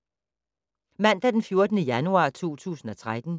Mandag d. 14. januar 2013